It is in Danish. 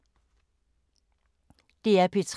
DR P3